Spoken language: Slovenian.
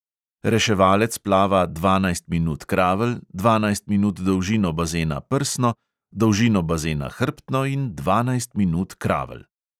Reševalec plava dvanajst minut kravl, dvanajst minut dolžino bazena prsno, dolžino bazena hrbtno in dvanajst minut kravl.